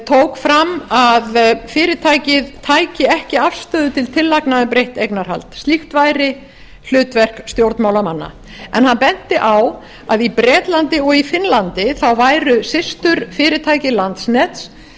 tók fram að fyrirtækið tæki ekki afstöðu til tillagna um breytt eignarhald slíkt væri hlutverk stjórnmálamanna hann benti á að í bretlandi og í finnlandi væru systurfyrirtæki landsnets